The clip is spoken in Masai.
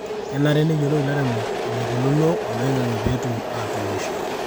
kenare neyiolou ilairemok eneikununo oloing'ange peetum tuunisho